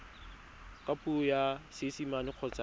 ka puo ya seesimane kgotsa